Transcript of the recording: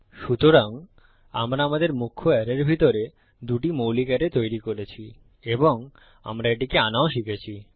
সুতরাং আমরা আমাদের মুখ্য অ্যারের ভিতরে দুটি মৌলিক অ্যারে তৈরি করেছি এবং আমরা এটিকে আনাও শিখেছি